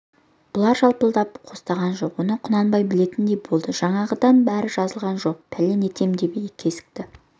бұлар жалпылдап қостаған жоқ оны құнанбай білетіндей болды жаңағыдан әрі жазылған жоқ пәлен етем деп кесікті